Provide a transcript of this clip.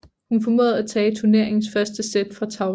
Hun formåede at tage turneringens første sæt fra Tauson